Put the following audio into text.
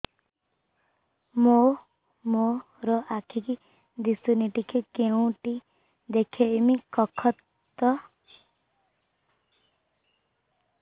ମୋ ମା ର ଆଖି କି ଦିସୁନି ଟିକେ କେଉଁଠି ଦେଖେଇମି କଖତ